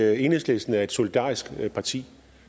at enhedslisten er et solidarisk parti